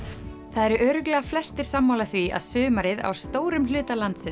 það eru örugglega flestir sammála því að sumarið stórum hluta landsins